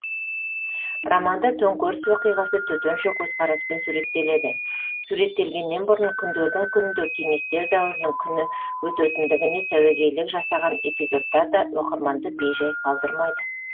романда төңкеріс оқиғасы төтенше көзқараспен суреттеледі суреттелгеннен бұрын күндердің күнінде кеңестер дәуірінің күні өтетіндігіне сәуегейлік жасалған эпизодтар да оқырманды бей жай қалдырмайды